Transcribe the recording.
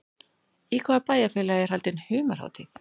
Í hvaða bæjarfélagi er haldin humarhátíð?